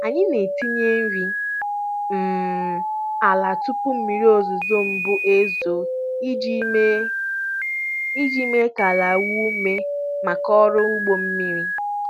Anyị na-etinye nri um ala tupu mmiri ozuzo mbụ ezoo iji mee iji mee ka ala nwee ume maka ọrụ ugbo mmiri.